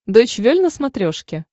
дойч вель на смотрешке